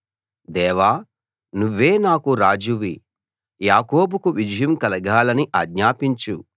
దేవా నువ్వే నాకు రాజువి యాకోబుకు విజయం కలగాలని ఆజ్ఞాపించు